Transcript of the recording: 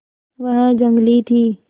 वह जंगली थी